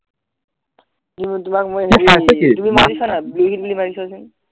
উম তোমাক মই এনে দিম তুমি মাৰি চোৱানা blue whale বুলি মাৰি চোৱাচোন